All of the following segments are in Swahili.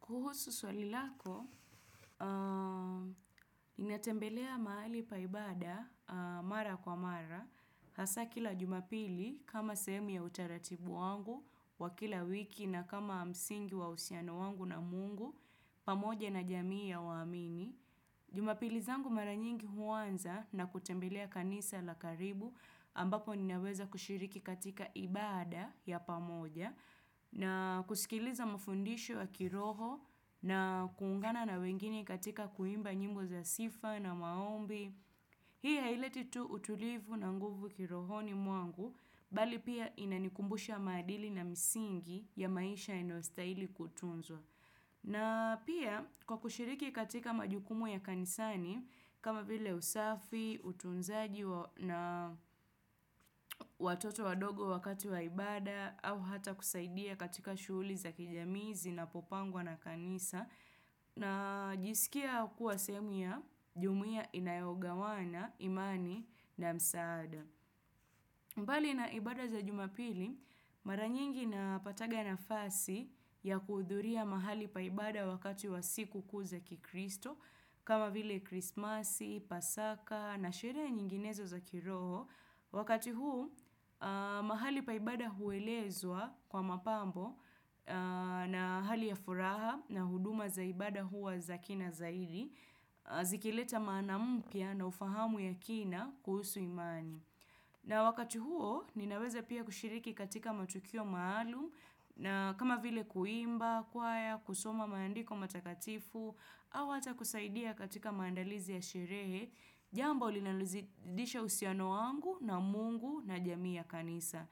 Kuhusu swali lako, inatembelea mahali paibada, mara kwa mara, hasa kila jumapili kama sehemu ya hutaratibu wangu, wa kila wiki na kama msingi wa usiano wangu na mungu, pamoja na jamii ya waamini. Jumapili zangu mara nyingi huanza na kutembelea kanisa la karibu ambapo ninaweza kushiriki katika ibada ya pamoja na kusikiliza mafundisho wa kiroho na kuungana na wengine katika kuimba nyimbo za sifa na maombi. Hii haileti tu utulivu na nguvu kirohoni mwangu, bali pia inanikumbusha maadili na misingi ya maisha inayostahili kutunzwa. Na pia kwa kushiriki katika majukumu ya kanisani, kama vile usafi, utunzaji na watoto wadogo wakati wa ibada, au hata kusaidia katika shuuli za kijamii zinapopangwa na kanisa na jisikia kuwa sehemu ya jumuia inayogawana imani na msaada. Mbali na ibada za jumapili, mara nyingi napataga nafasi ya kuudhuria mahali paibada wakati wa siku kuu za kikristo kama vile krismasi, pasaka na sherehe nyinginezo za kiroho Wakati huu, mahali pa ibada huwelezwa kwa mapambo na hali ya furaha na huduma za ibada huwa za kina zaidi, zikileta maana mpya na ufahamu ya kina kuhusu imani. Na wakati huo ninaweza pia kushiriki katika matukio maalum kama vile kuimba, choir, kusoma maandiko matakatifu au hata kusaidia katika maandalizi ya sherehe, jambo linalizidisha husiano wangu na mungu na jamii ya kanisa.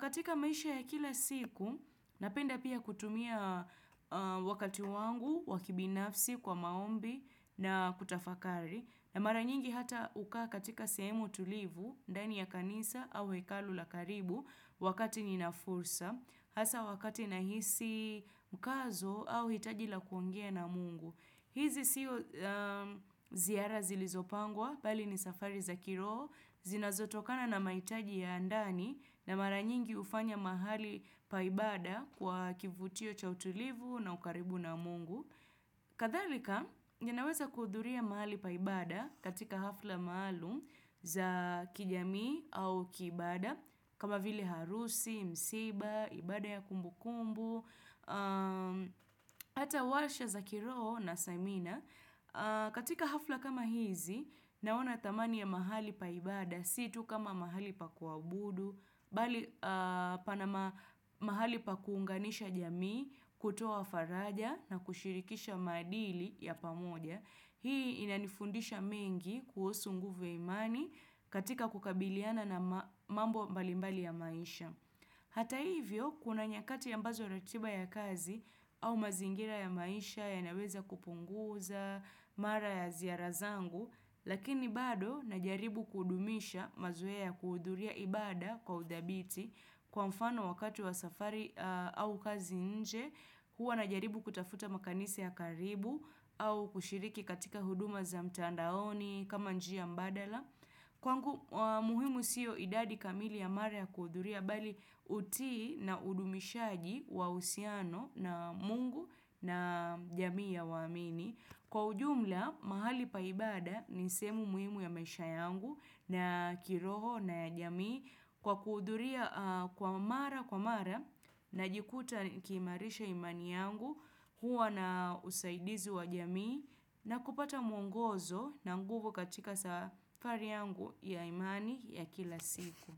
Katika maisha ya kila siku, napenda pia kutumia wakati wangu, wakibinafsi, kwa maombi na kutafakari. Na mara nyingi hata ukaa katika sehemu tulivu, ndani ya kanisa au hekalu la karibu wakati ninafursa hasa wakati na hisi mkazo au hitaji la kuongea na mungu hizi siyo ziara zilizopangwa, pali ni safari za kiroho, zinazotokana na mahitaji ya ndani na mara nyingi hufanya mahali pa ibada kwa kivutio cha utulivu na hukaribu na mungu. Kadharika ninaweza kuhudhuria mahali pa ibada katika hafla maalum za kijamii au kibaada kama vili harusi, msiba, ibada ya kumbukumbu ata walsha za kiroho na samina katika hafla kama hizi naona tamani ya mahali pa ibada situ kama mahali pa kuabudu bali panama mahali pa kuunganisha jamii, kutoa faraja na kushirikisha maadili ya pamoja. Hii inanifundisha mengi kuhusu nguvu ya imani katika kukabiliana na mambo mbalimbali ya maisha. Hata hivyo, kuna nyakati ya mbazo ratiba ya kazi au mazingira ya maisha ya naweza kupunguza, mara ya ziara zangu lakini bado na jaribu kudumisha mazoe ya kuhuduria ibada kwa udhabiti kwa mfano wakatu wa safari au kazi nje huwa najaribu kutafuta makanisa ya karibu au kushiriki katika huduma za mtandaoni kama njia mbadala kwangu muhimu siyo idadi kamili ya mara ya kuhuduria bali utii na udumishaji wa usiano na mungu na jamii ya waamini Kwa ujumla, mahali pa ibada ni sehemu muhimu ya maisha yangu na kiroho na ya jamii kwa kuhuthuria kwa mara kwa mara najikuta kimarisha imani yangu huwa na usaidizi wa jamii na kupata mwongozo na nguvu katika safari yangu ya imani ya kila siku.